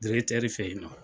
Dirɛkitɛri fɛ yen nɔ.